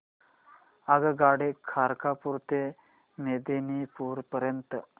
आगगाडी खरगपुर ते मेदिनीपुर पर्यंत